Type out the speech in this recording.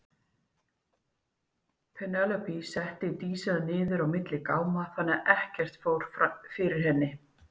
Penélope setti Dísina niður á milli gáma þannig að ekkert fór fyrir henni.